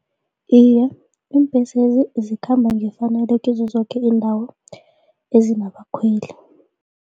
Iye, iimbhesezi zikhamba ngefanelo kizo zoke iindawo ezinabakhweli.